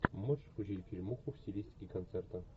можешь включить фильмуху в стилистике концерта